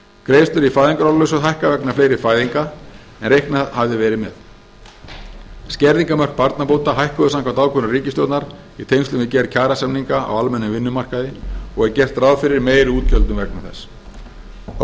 greiðslur í fæðingarorlofssjóð hækka vegna fleiri fæðinga en reiknað hafði verið með skerðingarmörk barnabóta hækkuðu samkvæmt ákvörðun ríkisstjórnar í tengslum við gerð kjarasamninga á almennum vinnumarkaði og er gert ráð fyrir meiri útgjöldum vegna þess þá